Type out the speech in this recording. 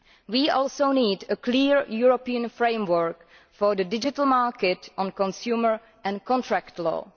We also need a clear European framework for the digital market on consumer and contract law.